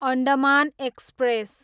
Andaman express